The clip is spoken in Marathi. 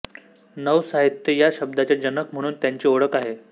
नवसाहित्य या शब्दाचे जनक म्हणून त्यांची ओळख आहे